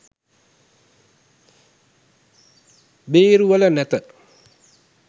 බේරුවල නැත.